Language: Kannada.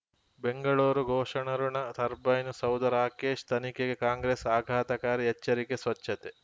ಬೆಂಗಳೂರು ಘೋಷಕರಋಣ ಟರ್ಬೈನು ಸೌಧ ರಾಕೇಶ್ ತನಿಖೆಗೆ ಕಾಂಗ್ರೆಸ್ ಆಘಾತಕಾರಿ ಎಚ್ಚರಿಕೆ ಸ್ವಚ್ಛತೆ